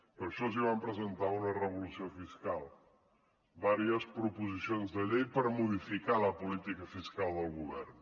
per això els vam presentar una revolució fiscal diverses proposicions de llei per modificar la política fiscal del govern